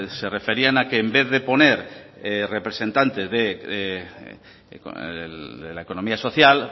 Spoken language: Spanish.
se referían a que en vez de poner representante de la economía social